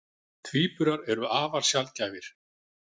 Tvíburar eru afar sjaldgæfir.